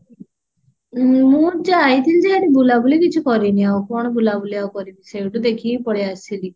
ମୁଁ ଯାଇଥିଲି ଯେ ବୁଲାବୁଲି କିଛି କରିନି ଆଉ କଣ ବୁଲାବୁଲି ଆଉ କରିବି ସେଇଠୁ ଦେଖିକି ପଳେଈ ଆସିଲି